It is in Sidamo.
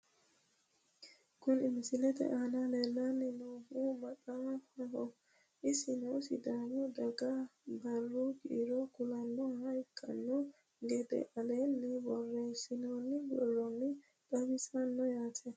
Kuni misilete aana lellanni noohu maxaafaho. isino sidaamu dagaha barru kiiro kulannoha ikkino gede aleenni borreessinoonni borronni xawinsoonni yaate .